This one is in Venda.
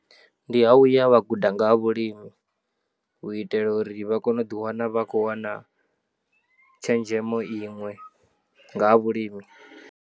Ndi ha u ya vha guda nga ha vhulimi u itela uri vha kone u ḓiwana vha khou wana tshenzhemo iṅwe nga ha vhulimi.